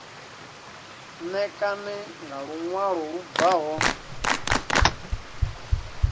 ṋekane nga luṅwalo lu bvaho